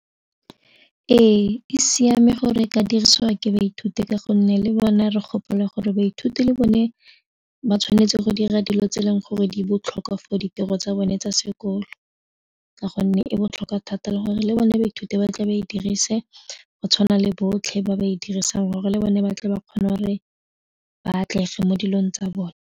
Ee, e siame gore e ka dirisiwa ke baithuti ka gonne le bone re gopolo gore baithuti le bone ba tshwanetse go dira dilo tse e leng gore di botlhokwa for ditiro tsa bone tsa sekolo ka gonne e botlhokwa thata le gore le bone baithuti ba tle ba e dirise go tshwana le botlhe ba ba e dirisang gore le bone ba tle ba kgone gore ba atlege mo dilong tsa bone.